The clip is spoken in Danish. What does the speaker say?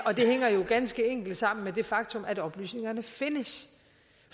ganske enkelt sammen med det faktum at oplysningerne findes